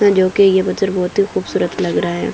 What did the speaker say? अ जो कि ये पत्थर बहोत ही खूबसूरत लग रहा है।